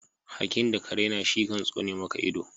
Hakki da ka rena shi kan soni maka ido.